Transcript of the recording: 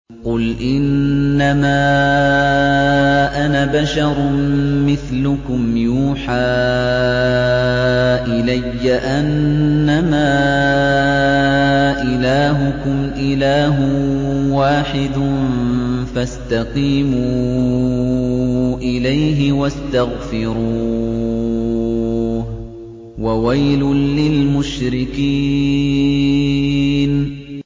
قُلْ إِنَّمَا أَنَا بَشَرٌ مِّثْلُكُمْ يُوحَىٰ إِلَيَّ أَنَّمَا إِلَٰهُكُمْ إِلَٰهٌ وَاحِدٌ فَاسْتَقِيمُوا إِلَيْهِ وَاسْتَغْفِرُوهُ ۗ وَوَيْلٌ لِّلْمُشْرِكِينَ